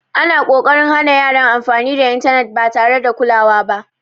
Ana ƙoƙarin hana yaran amfani da intanet ba tare da kulawa ba.